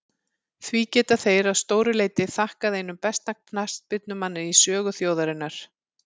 Því geta þeir að stóru leyti þakkað einum besta knattspyrnumanni í sögu þjóðarinnar.